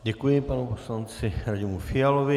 Děkuji panu poslanci Radimu Fialovi.